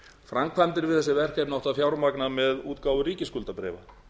framkvæmdir við þessi verkefni átti að fjármagna með útgáfu ríkisskuldabréfa